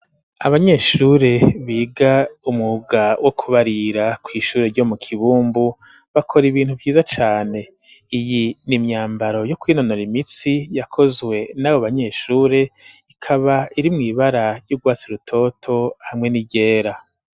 Abanyeshure biga umwuga wo kubarira kw’ishure ryo mu kibumbu bakora ibintu vyiza cane ,iyi n’ imyambaro yo kwinonora imitsi yakozwe n'abo banyeshure ikaba iri mw’ibara ry'ugwatsi rutoto hamwe ni ryera.